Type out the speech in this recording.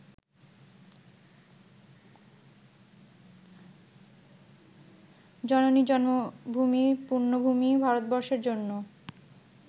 জননী জন্মভূমি পূণ্যভূমি ভারতবর্ষের জন্য